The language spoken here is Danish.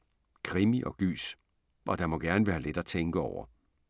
Krimi og gys. Og der må gerne være lidt at tænke over.